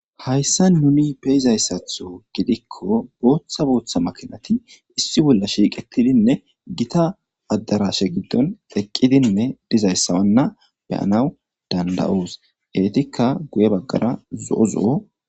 Hayssa nuni peyizayssatho gidikko booththa booththa makinati issi bolla shiiqetidinne gita addarashe giddon eqqidinne dizayssawnna beyanaw danda7oos. eetikka guye baggara zo7o zo7o.